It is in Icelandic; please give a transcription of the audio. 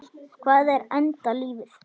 Hvað er enda lífið?